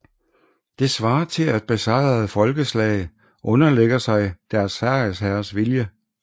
Det svarer til at besejrede folkeslag underlægger sig deres sejrsherres vilje